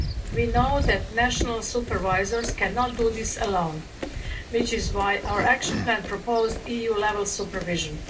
We know that national supervisors cannot do this alone, which is why our action plan proposed EU level supervision.